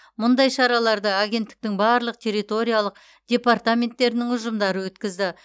мұндай шараларды агенттіктің барлық территориялық департаменттерінің ұжымдары өткізді